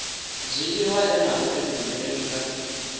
dzhiiwa e na vhudifhinduleli nga